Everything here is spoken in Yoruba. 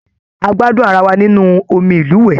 A gbádùn ará wá nínú omí ilúwẹ.